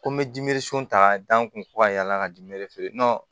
Ko n bɛ ta ka da n kun ko ka yala ka di feere